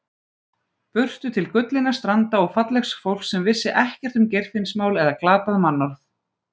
Burtu til gullinna stranda og fallegs fólks sem vissi ekkert um Geirfinnsmál eða glatað mannorð.